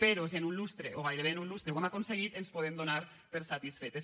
però si en un lustre o gairebé en un lustre ho hem aconseguit ens podem donar per satisfetes